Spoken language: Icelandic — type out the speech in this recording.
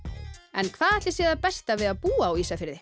en hvað ætli sé það besta við að búa á Ísafirði